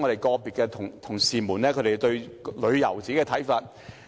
個別同事提出了他們對於旅遊的個人看法。